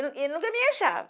E e nunca me achava.